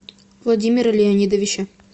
владимира леонидовича